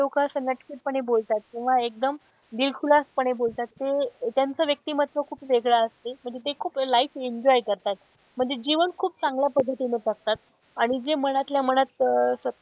कि जे लोक असं नटखट पणे बोलतात किंवा एकदम दिलखुलास पणे बोलतात ते त्यांचं व्यक्तिमत्व खूप वेगळं असते म्हणजे ते खूप life enjoy करतात. म्हणजे जीवन खूप चांगल्या पद्धतीने जगतात आणि जे मनातल्या मनात